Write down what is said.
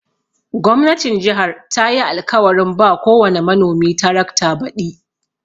Gwamnatin jihar tayi alkawarin ba kowani manomi tarakta baɗi.